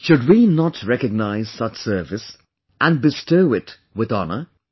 Should we not recognize such service and bestow it with honour